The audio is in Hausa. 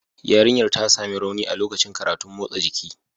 Yarinyar ta sami rauni a lokacin karatun motsa jiki